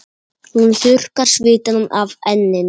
Hún þurrkar svitann af enninu.